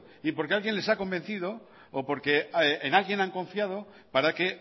y porque alguien les ha convencido o porque en alguien han confiado para que